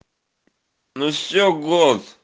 ну все год